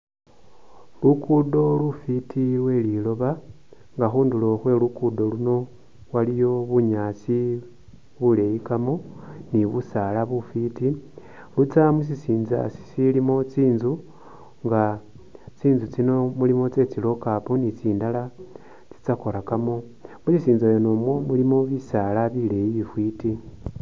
Lukudo lufiti lwe liloba nga khunduro khwe lugudo luno waliyo bunyaasi buleyi kamo ni busala bufiti butsa musisinza sisilimo tsitsu nga tsitsu tsino mulimo tse tsi lockup ni tsindala tsa korakamo mushisinza mwene mu mulimo bisala bileyi bifiti.